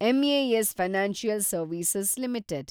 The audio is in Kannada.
MAS financial service limited